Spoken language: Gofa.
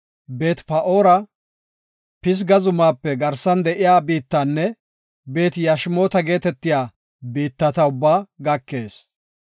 Beet-Pa7oora, Pisga zumaape garsan de7iya biittanne Beet-Yashimoota geetetiya biittata ubbaa gakees.